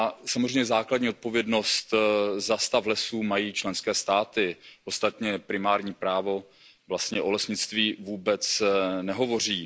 Samozřejmě základní odpovědnost za stav lesů mají členské státy, ostatně primární právo vlastně o lesnictví vůbec nehovoří.